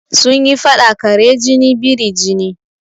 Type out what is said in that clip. Sun yi faɗa "kare jini biri jini"